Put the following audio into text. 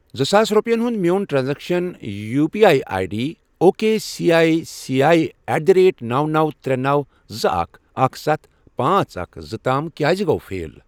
زٕ ساس رۄپِیَن ہُنٛد میون transaction U P I I D O K C I C I at the rate نوَ، نوَ، ترے، نوَ، زٕ، اکھَ، اکھَ، ستھَ، پانژھ، اکھَ، زٕ، تام کیٛازِ گوٚو فیل؟